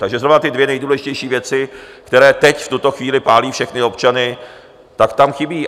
Takže znovu ty dvě nejdůležitější věci, které teď v tuto chvíli pálí všechny občany, tak tam chybí.